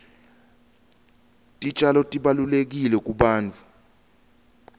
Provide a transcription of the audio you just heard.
titjalo tibalulekile kubantfu